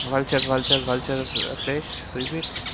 Vulture vulture vulture এর flesh is it